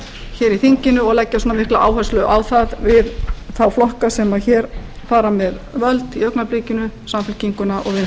hér í þinginu og leggja svona mikla áherslu á það við þá flokka sem hér fara með völd í augnablikinu samfylkinguna og vinstri græna það